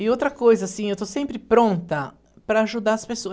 E outra coisa, assim, eu estou sempre pronta para ajudar as pessoas.